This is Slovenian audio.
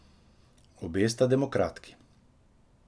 Obe sta demokratki.